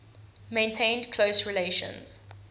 maintained close relations